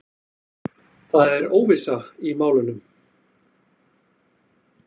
Það er óvissa í málunum.